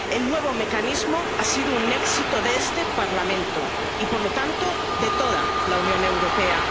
El nuevo mecanismo ha sido un éxito de este Parlamento y, por lo tanto, de toda la Unión Europea.